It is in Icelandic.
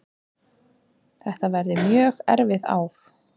Þetta verði mjög erfið ár